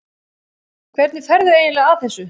Hvernig ferðu eiginlega að þessu?